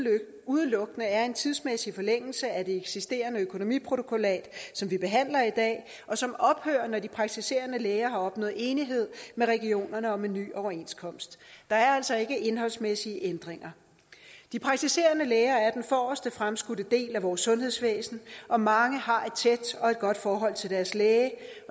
udelukkende er en tidsmæssig forlængelse af det eksisterende økonomiprotokollat som vi behandler i dag og som ophører når de praktiserende læger har opnået enighed med regionerne om en ny overenskomst der er altså ikke indholdsmæssige ændringer de praktiserende læger er den forreste fremskudte del af vores sundhedsvæsen og mange har et tæt og godt forhold til deres læge